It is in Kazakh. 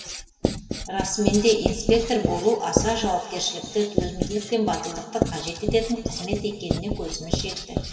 расымен де инспектор болу аса жауапкершілікті төзімділік пен батылдықты қажет ететін қызмет екеніне көзіміз жетті